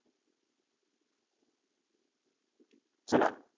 चला